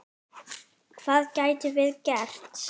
Hvað gætum við gert?